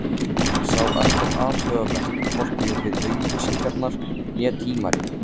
Hann sá ekkert athugavert, hvorki við auglýsingarnar né tímaritin.